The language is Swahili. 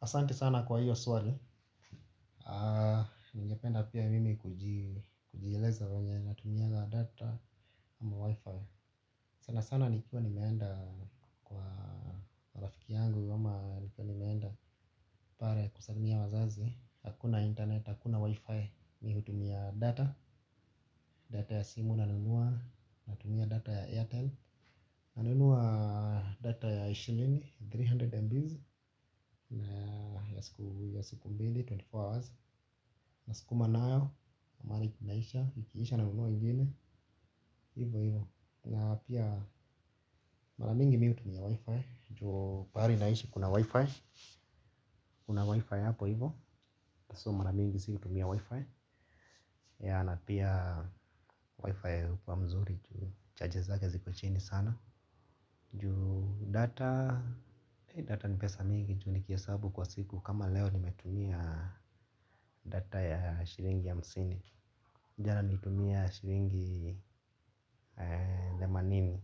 Asante sana kwa hiyo swali. Ningependa pia mimi kujieleza venye natumia data ama wi-fi. Sana sana nikiwa nimeenda kwa rafiki yangu ama nikiwa nimeenda pale kusalimia wazazi. Hakuna internet, hakuna wi-fi mimi hutumia data, data ya simu nanunua natumia data ya airtime nanunua data ya shilingi, three hundred mbs. Na ya siku mbili twenty four hours nasukuma nayo, mahali inaisha, ikiisha nanunua ingine. Hivo hivo, na pia mara mingi mi hutumia wifi. Ju pahali naishi kuna wifi. Kuna wifi hapo hivo, so mara mingi sikutumia wifi. Ya na pia wifi hukuwa mzuri, juu chaji zake ziko chini sana juu data data ni pesa mingi juu nikihesahabu kwa siku kama leo nimetumia data ya shillingi hamsini jana nitumia shilingi themanini,